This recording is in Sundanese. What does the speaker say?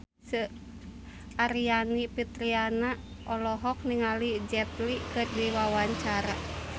Aryani Fitriana olohok ningali Jet Li keur diwawancara